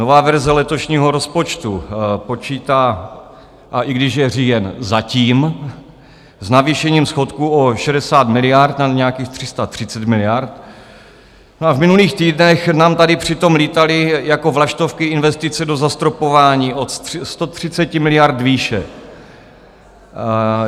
Nová verze letošního rozpočtu počítá, a i když je říjen, zatím s navýšením schodku o 60 miliard na nějakých 330 miliard, no a v minulých týdnech nám tady přitom lítaly jako vlaštovky investice do zastropování od 130 miliard výše.